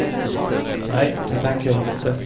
Nej, det tänker jag inte.